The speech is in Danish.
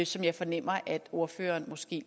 som jeg fornemmer at ordføreren måske